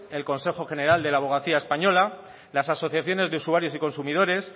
el consejo general de la abogacía español las asociaciones de usuarios y consumidores